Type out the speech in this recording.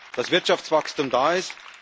hat, dass Wirtschaftswachstum da ist.